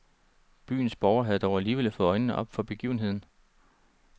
Byens borgere havde dog alligevel fået øjnene op for begivenheden.